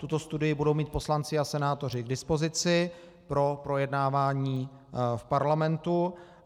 Tuto studii budou mít poslanci a senátoři k dispozici pro projednávání v Parlamentu.